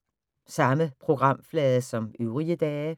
Samme programflade som øvrige dage